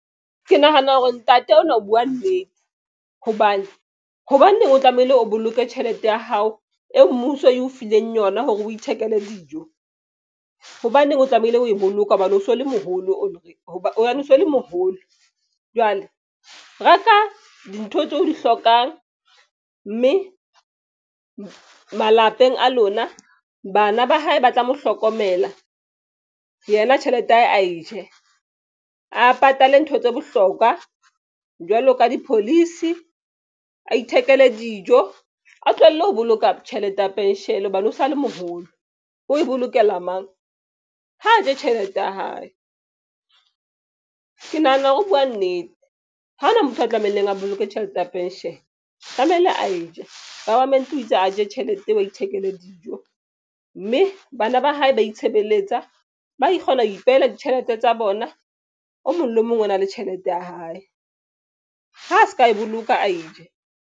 Ke nahana hore ntate o nwa o buwa nnete hobane hobaneng o tlamehile o boloke tjhelete ya hao e mmuso e o fileng yona hore o ithekele dijo. Hobaneng o tlamehile ho e boloka hobane o so le moholo, o re hoba hobane o so le moholo. Jwale reka dintho tseo di hlokang mme malapeng a lona bana ba hae ba tla mo hlokomela yena tjhelete ya hae ae je a patale ntho tse bohlokwa jwalo ka di-policy, a ithekele dijo, a tlohelle ho boloka tjhelete ya pension hobane o sa le moholo o bolokela mang ha ntshe tjhelete ya hae. Ke nahana hore ho buwa nnete ha hona motho a tlamehileng a boloke tjhelete ya pension tlamehile a e je government o itse a je tjhelete eo a ithekele dijo mme bana ba hae ba itshebeletsa, ba kgona ho ipehela ditjhelete tsa bona. O mong le mong o na le tjhelete ya hae ha se ka e boloka a e je.